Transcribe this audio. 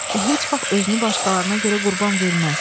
O heç vaxt özünü başqalarına görə qurban verməz.